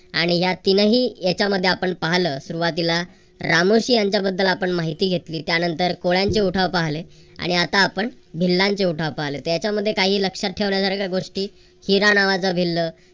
आणि या तीनही याच्यामध्ये आपण पाहलं सुरुवातीला रामोशी यांच्या बद्दल आपण माहिती घेतली. त्यानंतर कोळ्यांची उठाव पाहले आणि आता पण भिल्लांचा उठाव पाहिले तर याच्या मध्ये काही लक्षात ठेवण्यासारख्या गोष्टी. हिरा नावाचा भिल्ल.